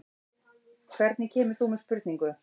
Hvernig kemur þú með spurningu?